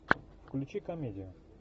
включи комедию